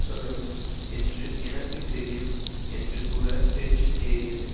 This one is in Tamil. சொல்லணும் என்று எனக்கு தெரியும் என்று கூற டென்ஷன் ஏறியது